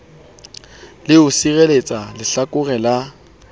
le ho sireletsa lehlakore la